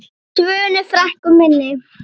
Svönu frænku minni.